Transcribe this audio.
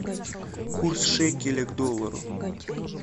курс шекеля к доллару